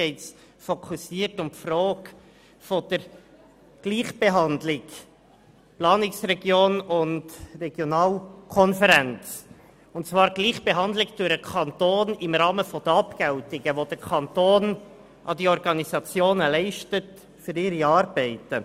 Es geht um die Gleichbehandlung des Kantons im Rahmen der von ihm an diese Organisationen geleisteten Abgeltungen für die von ihnen erbrachten Arbeiten.